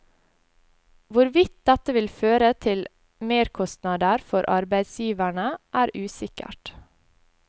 Hvorvidt dette vil føre til merkostnader for arbeidsgiverne, er usikkert.